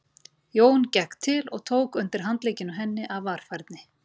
Jón gekk til og tók undir handlegginn á henni af varfærni.